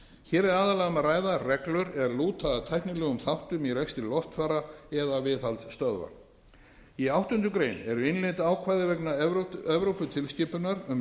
hér er aðallega um að ræða reglur er lúta að tæknilegum þáttum í rekstri loftfara eða viðhaldsstöðva í áttundu greinar eru innleidd ákvæði vegna evróputilskipunar um